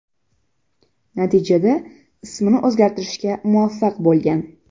Natijada ismini o‘zgartirishga muvaffaq bo‘lgan.